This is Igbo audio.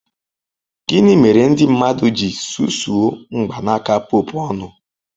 Gịnị mere ndị mmadụ ji susuo mgbanaka Pope ọnụ?